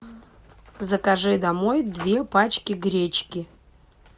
закажи домой две пачки гречки